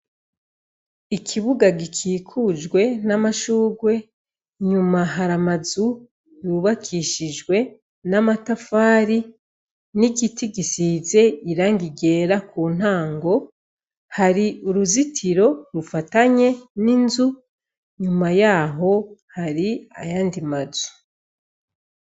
Ikibuga gikikujwe n'amashugwe nyuma haramazu yubakishijwe n'amatafari n'igiti gisize irangi ryera ku ntango hari uruzitiro rufatanye n'inzu nyuma yaho hari ayandi mazu.